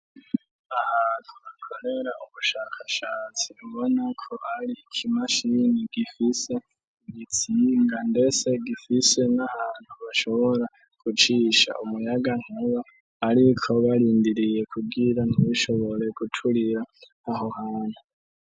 Ahantu bakorera ubushakashatsi bubonako ari ikimashini gifise i gitsinga ndese gifise n'ahantu bashobora gucisha umuyaga ntuba, ariko barindiriye kugira ntibishoboree guturira aho muntu.